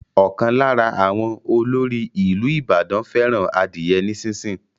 Ókan lára àwọn ọlóòrì ìlú Ìbàdàn fẹràn adiye ní sísìn.